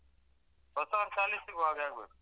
ಹೊಸವರ್ಷ ಅಲ್ಲಿ ಸಿಗುವಾಗ್ ಆಗ್ಬೇಕು.